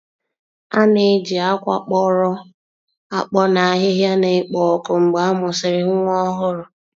A na-eji akwa kpọrọ akpọ na ahịhịa na-ekpo ọkụ mgbe a mụsịrị nwa ọhụrụ.